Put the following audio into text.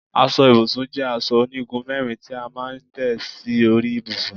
Aso ibùsùn jé aso onigun mérin ti a maa n té si ori ibusun